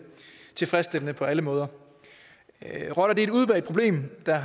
tilfredsstillende på alle måder rotter er et udbredt problem der